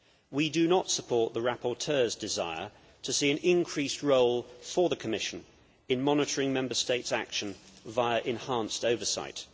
We do not support the rapporteur's desire to see an increased role for the Commission in monitoring Member States' action via enhanced oversight.